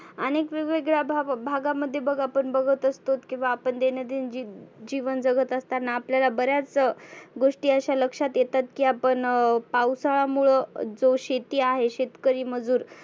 आनेक वेग वेगळ्या भा भागामध्ये बघ आपण बघत असतोत की दैनंदीन जिवन जगत असताना आपल्याला बऱ्याच गोष्टी अशा लक्षात येतात की आपण पावसाळ्यामुळ जो शेती आहे शेतकरी मजुर